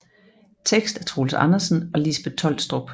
Tekst af Troels Andersen og Lisbeth Tolstrup